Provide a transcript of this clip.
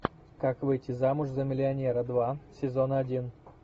как выйти замуж за миллионера два сезон один